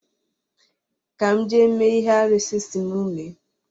Ka m jee mee ihe arụsị̣ si m mee